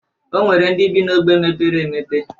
O nwere ndị bị n' ogbe mepere emepe.